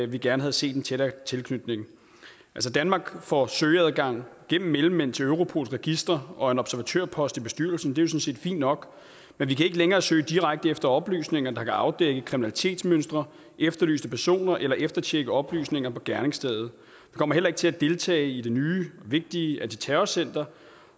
vi gerne havde set en tættere tilknytning altså danmark får søgeadgang gennem mellemmænd til europols registre og en observatørpost i bestyrelsen det er jo sådan set fint nok men vi kan ikke længere søge direkte efter oplysninger der kan afdække kriminalitetsmønstre efterlyste personer eller eftertjekke oplysninger på gerningsstedet vi kommer heller ikke til at deltage i det nye og vigtige antiterrorcenter